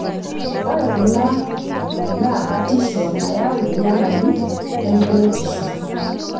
Ore kuna naa batisho nayau enyamali e enkuretisho.